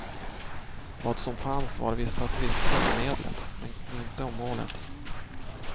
Vad som fanns var vissa tvister om medlet, men inte om målet.